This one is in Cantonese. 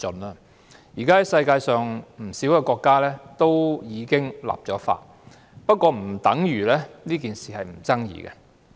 現時世界上已有不少國家立法，但不等於這事沒有爭議性。